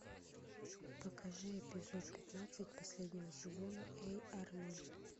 покажи эпизод пятнадцать последнего сезона эй арнольд